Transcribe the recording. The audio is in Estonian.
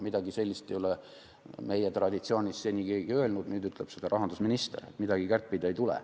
Midagi sellist ei ole meie traditsioonis seni keegi öelnud, nüüd ütleb rahandusminister, et midagi kärpida ei tule.